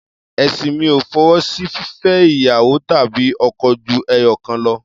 Ẹ̀sìn mi ò fọwọ́ sí fífẹ́ ìyàwó tàbí ọkọ ju ẹyọ̀kan lọ.